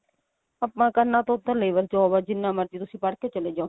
ਆਪਾਂ ਕਰਨਾ ਤਾਂ ਉੱਥੇ labor job ਆ ਜਿੰਨਾ ਮਰਜੀ ਤੁਸੀਂ ਪੜ ਕੇ ਚਲੇ ਜਾਓ